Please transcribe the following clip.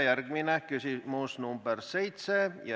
Järgmine on küsimus nr 7.